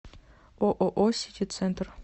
ооо сити центр